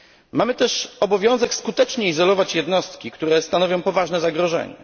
Mamy też obowiązek skutecznie izolować jednostki, które stanowią poważne zagrożenie.